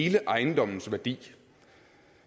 hele ejendommens værdi